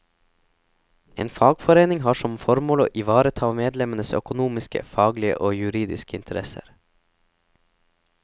En fagforening har som formål å ivareta medlemmenes økonomiske, faglige og juridiske interesser.